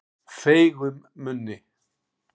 Feigum munni